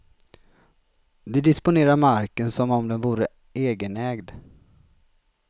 De disponerar marken som om den vore egenägd.